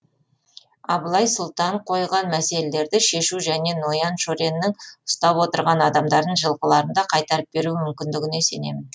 абылай сұлтан қойған мәселелерді шешу және ноян шореннің ұстап отырған адамдарын жылқыларын да қайтарып беру мүмкіндігіне сенемін